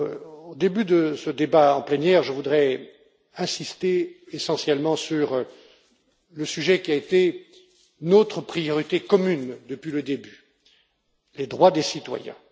Au début de ce débat en plénière, je voudrais insister essentiellement sur le sujet qui a été notre priorité commune depuis le début les droits des citoyens.